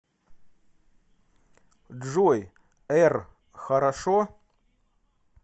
джой р хорошо